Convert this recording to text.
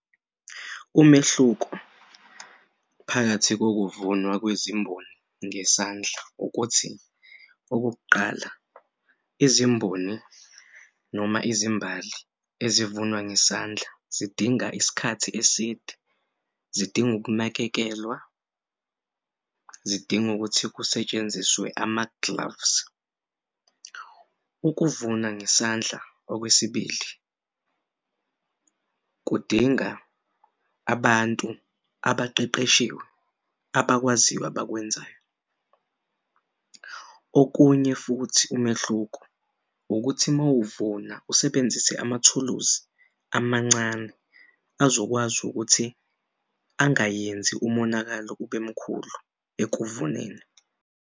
Umehluko phakathi kokuvunwa kwezimboni ngesandla ukuthi okokuqala, izimboni noma izimbali ezivuna ngesandla zidinga isikhathi eside, zidinga ukunakekelwa zidinga ukuthi kusetshenziswe ama-gloves. Ukuvuna ngesandla okwesibili, kudinga abantu abaqeqeshiwe abakwaziyo abakwenzayo. Okunye futhi umehluko ukuthi mawuvula usebenzise amathuluzi amancane azokwazi ukuthi angayenzi umonakalo ubemkhulu ekuvuneni.